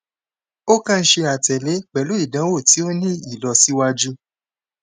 o kan ṣe atẹle pẹlu idanwo ti o ni ilọsiwaju